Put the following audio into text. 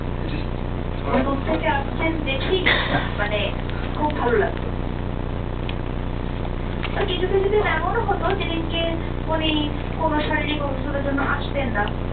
উনি দূর থেকে আসছেন দেখেই মানে খুব ভালো লাগতো। আর কিছু কিছু দিন এমন হতো যেদিনকে উনি কোন শারীরিক অসুস্থতার জন্য আসতেন না,